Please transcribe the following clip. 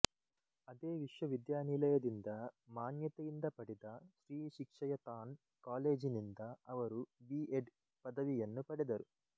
ಅದೇ ವಿಶ್ವ ವಿದ್ಯಾನಿಲಯದಿಂದ ಮಾನ್ಯತೆಯಿಂದ ಪಡೆದ ಶ್ರೀ ಶಿಕ್ಷಯತಾನ್ ಕಾಲೇಜಿನಿಂದ ಅವರು ಬಿ ಎಡ್ ಪದವಿಯನ್ನು ಪಡೆದರು